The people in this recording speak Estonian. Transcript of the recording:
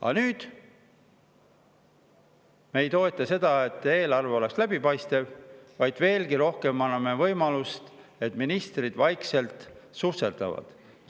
Aga meie mitte ei toeta seda, et eelarve oleks läbipaistev, vaid, veelgi rohkem, me anname võimaluse, et ministrid vaikselt susserdaksid.